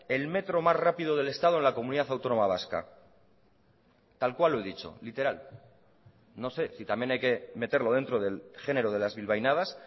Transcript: el metro más rápido del estado en la comunidad autónoma vasca tal cual lo he dicho literal no sé si también hay que meterlo dentro del género de las bilbainadas